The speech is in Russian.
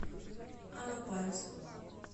алапаевску